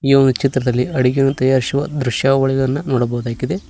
ಈ ಒಂದು ಚಿತ್ರದಲ್ಲಿ ಅಡುಗೆಯನ್ನು ತಯಾರಿಸುವ ದೃಶ್ಯಾವಳಿಯನ್ನ ನೋಡಬಹುದಾಗಿದೆ.